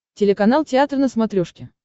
телеканал театр на смотрешке